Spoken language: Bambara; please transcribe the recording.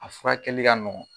A furakɛli ka nɔgɔn